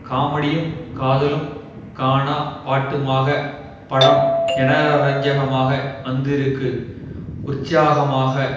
காமெடியும் காதலும் கானா பாட்டுமாக படம் ஜனரஞ்சகமாக வந்திருக்கு உற்சாகமாக